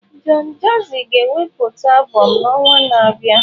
Don Jazzy ga-ewepụta albụm n'ọnwa na-abịa.